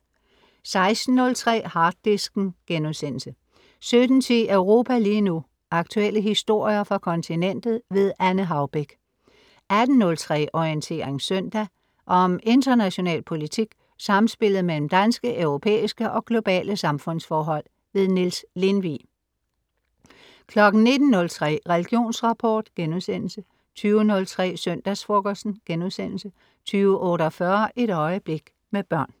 16.03 Harddisken* 17.10 Europa lige nu. aktuelle historier fra kontinentet. Anne Haubek 18.03 Orientering søndag. Om international politik, samspillet mellem danske, europæiske og globale samfundsforhold. Niels Lindvig 19.03 Religionsrapport* 20.03 Søndagsfrokosten* 20.48 Et øjeblik, med børn